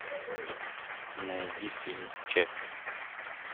найди фильм чаппи